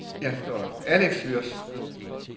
Alex Würtz